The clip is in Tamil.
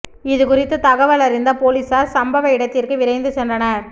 இதுகுறித்து தகவல் அறிந்த போலீசார் சம்பவ இடத்திற்கு விரைந்து சென்றனர்